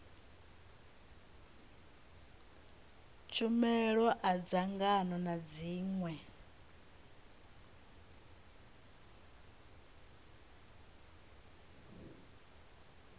tshumelo a dzangano na zwiṅwe